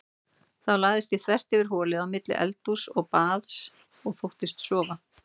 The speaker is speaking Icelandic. Þá lagðist ég þvert yfir holið á milli eldhúss og baðs og þóttist sofa.